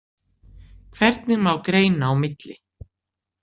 Hvernig má greina á milli?